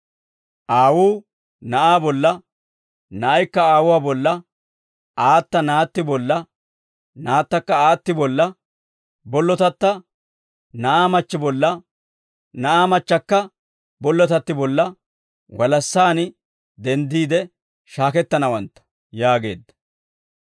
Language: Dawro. Aawuu na'aa bolla, na'aykka aawuwaa bolla, aata naatti bolla, naattakka aatti bolla, bollotatta na'aa machchi bolla, na'aa machchakka bollotatti bolla, walassaan denddiide shaakettanawantta» yaageedda.